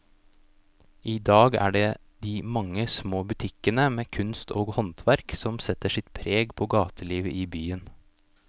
I dag er det de mange små butikkene med kunst og håndverk som setter sitt preg på gatelivet i byen.